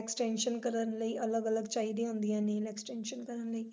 extension ਕਰਨ ਲਈ ਅਲੱਗ ਅਲੱਗ ਚਾਹੀਦੀਆਂ ਹੁੰਦੀਆਂ ਨੇ extension ਕਰਨ ਲਈ।